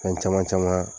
Fɛn caman caman